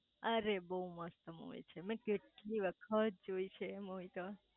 અરે બઉ મસ્ત મુવી છે મેં કેટલી વખત જોઈ છે મુવી તો